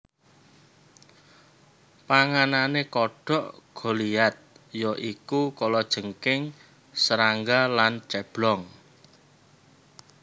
Panganane kodhok goliath ya iku kalajengking serangga lan ceblong